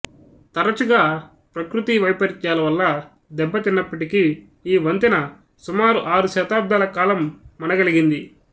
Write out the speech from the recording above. తరచుగా ప్రకృతి వైపరీత్యాల వల్ల దెబ్బ తిన్నప్పటికీ ఈ వంతెన సుమారు ఆరు శతాబ్దాల కాలం మన గలిగింది